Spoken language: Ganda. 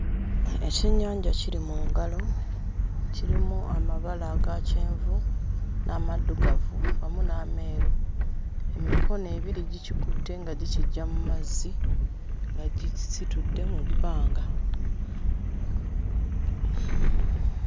Ekyennyanja kiri mu ngalo kirimu amabala aga kyenvu n'amaddugavu wamu n'ameeru emikono ebiri gikikutte nga gikiggya mu mazzi nga gikisitudde mu bbanga.